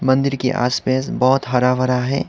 मंदिर के आस पैस बहोत हरा भरा है।